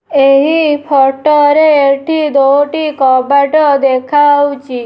ଏହି ଫୋଟ ରେ ଏଠି ଦୋଟି କବାଟ ଦେଖାହୋଉଛି।